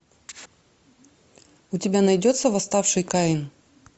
у тебя найдется восставший каин